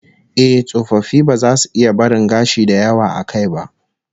Eh, tsofaffi ba za su iya barin gashi da yawa a kai ba